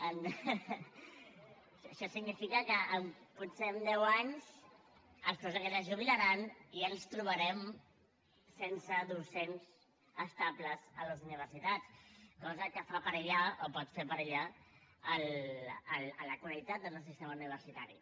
això significa que potser en deu anys els professors aquests es jubilaran i ens trobarem sense docents estables a les universitats cosa que fa perillar o pot fer perillar la qualitat del nostre sistema universitari